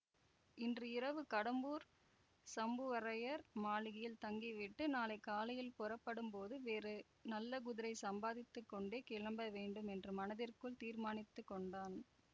இன்று இரவு கடம்பூர் சம்புவரையர் மாளிகையில் தங்கிவிட்டு நாளை காலையில் புறப்படும்போது வேறு நல்ல குதிரை சம்பாதித்து கொண்டே கிளம்ப வேண்டும் என்று மனதிற்குள் தீர்மானித்து கொண்டான்